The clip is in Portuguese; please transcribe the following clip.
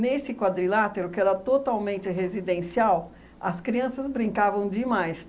Nesse quadrilátero, que era totalmente residencial, as crianças brincavam demais.